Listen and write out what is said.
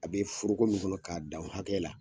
A bɛ foroko min kɔnɔ k'a dan o hakɛ la.